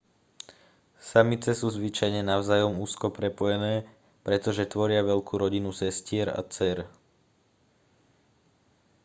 samice sú zvyčajne navzájom úzko prepojené pretože tvoria veľkú rodinu sestier a dcér